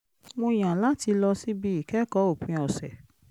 mo yàn láti lọ síbi ìkẹ́kọ̀ọ́ òpin ọ̀sẹ̀